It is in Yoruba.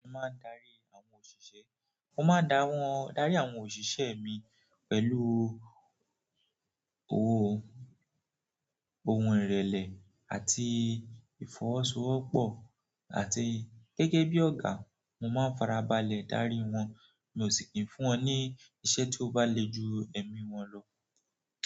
Mo máa ń darí àwọn òṣìṣẹ́, mo máa ń dá wọn, darí àwọn òṣìṣẹ́ mi pẹ̀lú owó, ohun ìrẹ̀lẹ̀ àti ìfọwọ́sowọ́pọ̀ àti gẹ́gẹ́ bí ọ̀gá, mo máa ń farabalẹ̀ darí wọn, mi ò sì kí ń fún wọn ní iṣẹ́ tí ó bá le ju ẹ̀mí wọn lọ.